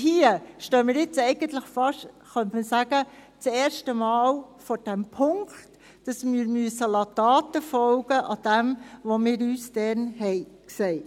Hier stehen wir – könnte man sagen – jetzt eigentlich fast zum ersten Mal vor dem Punkt, dass wir Taten folgen lassen müssen, gemäss dem, was wir damals gesagt haben.